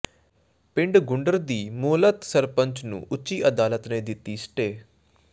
ਪਿੰਡ ਘੁੰਡਰ ਦੀ ਮੁਅੱਤਲ ਸਰਪੰਚ ਨੂੰ ਉੱਚ ਅਦਾਲਤ ਨੇ ਦਿੱਤੀ ਸਟੇਅ